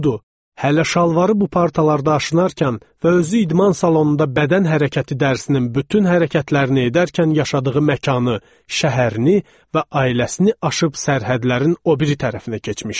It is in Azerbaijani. Hələ şalvarı bu partalarda aşınarkən və özü idman salonunda bədən hərəkəti dərsini bütün hərəkətlərini edərkən yaşadığı məkanı, şəhərini və ailəsini aşıb sərhədlərin o biri tərəfinə keçmişdi.